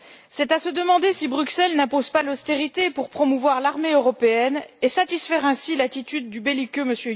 C'est à se demander si Bruxelles n'impose pas l'austérité pour promouvoir l'armée européenne et satisfaire ainsi l'attitude du belliqueux M.